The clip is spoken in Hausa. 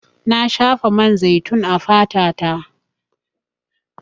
Na shafa man zaitun a fata ta.